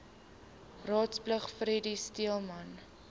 raadslid freddie speelman